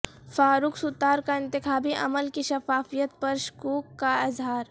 فاروق ستار کا انتخابی عمل کی شفافیت پر شکوک کا اظہار